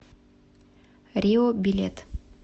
рио билет